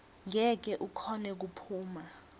ngeke ukhone kuphuma